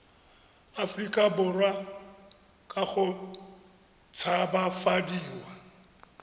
aforika borwa ka go tshabafadiwa